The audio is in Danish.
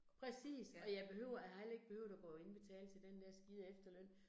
Præcis, og jeg behøver, har heller ikke behøvet at gå og indbetale til den der skide efterløn